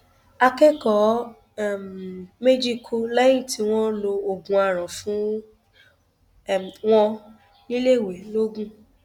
akẹkọọ um méjì kú lẹyìn tí wọn lo oògùn àràn fún um wọn níléèwé lọgun